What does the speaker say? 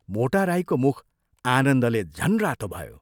मोटा राईको मुख आनन्दले झन् रातो भयो।